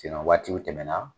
waatiw tɛmɛ na